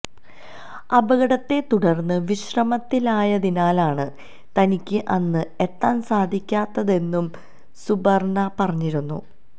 അപകടത്തെതുടര്ന്ന് വിശ്രമത്തിലായതിനാലാണ് തനിക്ക് അന്ന് എത്താന് സാധിക്കാത്തതെന്നും സുപര്ണ്ണ പറഞ്ഞിരുന്നു